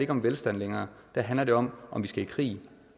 om velstand længere der handler det om om vi skal i krig